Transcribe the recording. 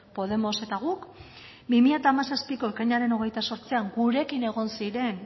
podemos eta guk bi mila hamazazpiko ekainaren hogeita zortzian gurekin egon ziren